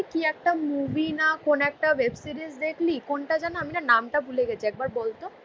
কি একটা মুভি না কোন একটা ওয়েব সিরিজ দেখলি? কোনটা যেন আমি না নামটা ভুলে গেছি একবার বলতো?